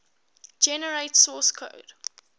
generate source code